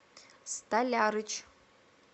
столярыч